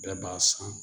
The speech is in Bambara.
Bɛɛ b'a san